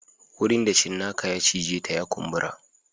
Wurin da cinnaka ya cije ta ya kumbura